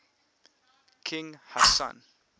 king hassan